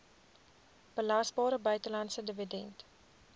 belasbare buitelandse dividend